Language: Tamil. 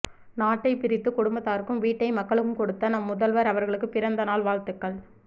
நாட்டை பிரித்து குடும்பத்தாருக்கும் வீட்டை மக்களுக்கும் கொடுத்த நம் முதல்வர் அவர்களுக்கு பிறந்த நாள் வாழ்த்துகள்